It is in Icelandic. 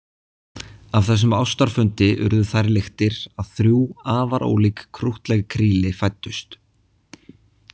Af þessum ástarfundi urðu þær lyktir að þrjú afar ólík krúttleg kríli fæddust.